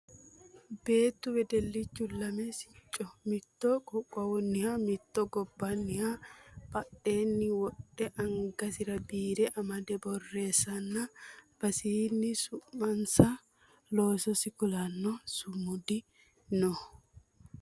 Beettu wedellichu lame sicco mitto qoqqowunniha mitto gobbanniha badheenni wodhe angasira biire amade borreessannna albasiinni su'masinna loososi kulanno sumudi no